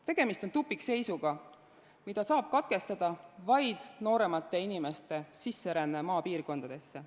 Tegemist on tupikseisuga, mida saab katkestada vaid nooremate inimeste sisseränne maapiirkondadesse.